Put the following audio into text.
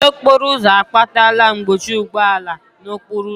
Ajọ okporo ụzọ akpatala mkpọchi ụgbọala n'okporo ụzọ